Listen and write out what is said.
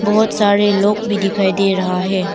बहुत सारे लोग भी दिखाई दे रहा है।